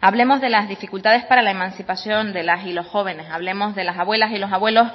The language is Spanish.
hablemos de las dificultades para la emancipación de las y los jóvenes hablemos de las abuelas y los abuelos